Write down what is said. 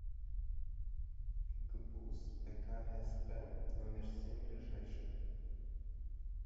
гбуз пк гсп номер семь ближайший